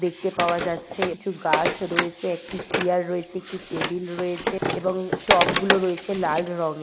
দেখতে পাওয়া যাচ্ছে কিছু গাছ রয়েছে একটি চিয়ার রয়েছে একটি টেবিল রয়েছে এবং টবগুলো রয়েছে লাল রঙে--